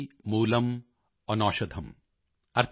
ਨਾਸਤਿ ਮੂਲਮ੍ ਅਨੌਸ਼ਧਮ੍॥